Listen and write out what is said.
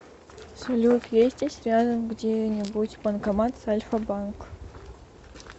салют есть здесь рядом где нибудь банкомат с альфа банк